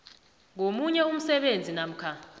ngomunye umsebenzi namkha